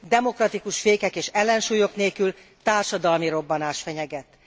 Demokratikus fékek és ellensúlyok nélkül társadalmi robbanás fenyeget.